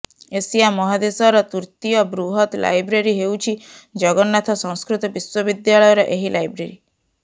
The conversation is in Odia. ଏସିଆ ମହାଦେଶର ତୃତୀୟ ବୃହତ ଲାଇବ୍ରେରୀ ହେଉଛି ଜଗନ୍ନାଥ ସଂସ୍କୃତ ବିଶ୍ୱବିଦ୍ୟାଳୟର ଏହି ଲାଇବ୍ରେରୀ